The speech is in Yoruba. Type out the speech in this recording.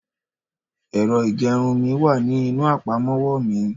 ẹrọ igerun mi wa ní inú apamọwọ mi